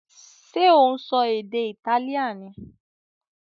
Ṣé ò ń sọ èdè Italian ni?